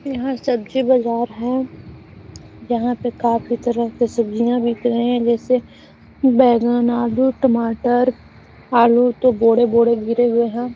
यहाँ सब्जी बाजार है यहाँ पे काफी तरह के सब्जियां बिक रहे है जैसे बैगन आलू टमाटर आलू तो बोरे-बोरे गिरे हुए है।